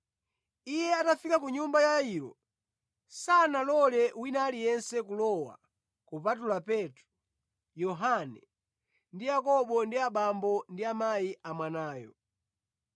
Iye atafika ku nyumba ya Yairo, sanalole wina aliyense kulowa kupatula Petro, Yohane, ndi Yakobo ndi abambo ndi amayi a mwanayo.